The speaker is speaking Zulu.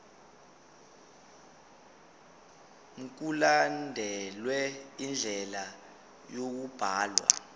mkulandelwe indlela yokubhalwa